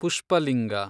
Pushpalinga